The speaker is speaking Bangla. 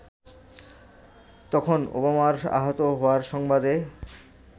তখন ওবামার আহত হওয়ার সংবাদে